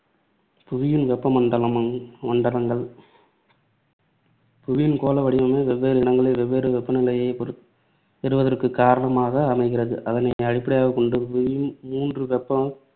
புவியின் வெப்ப மண்டலம் மண்டலங்கள் புவியின் கோள வடிவமே வெவ்வேறு இடங்களில் வெவ்வேறு வெப்பநிலையைப் பொறு~ பெறுவதற்கு காரணமாக அமைகிறது. அதனை அடிப்படையாக கொண்டு புவி மூன்று வெப்ப